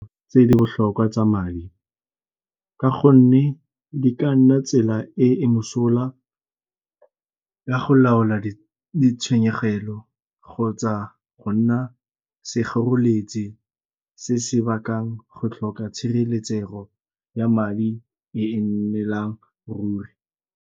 Tse di botlhokwa tsa madi, ka gonne di ka nna tsela e e mosola ya go laola di tshenyegelo kgotsa go nna sekgoreletsi se se bakang go tlhoka tshireletsego ya madi e e nnelang ruri.